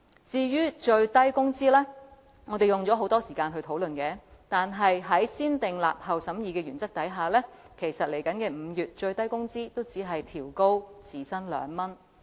至於我們用了很多時間討論的最低工資，在"先訂立後審議"的原則下，在即將來臨的5月，最低工資也只會調高2元時薪。